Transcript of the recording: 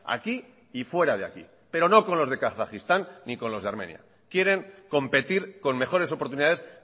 aquí y fuera de aquí pero no con los de kazajistán ni con los de armenia quieren competir con mejores oportunidades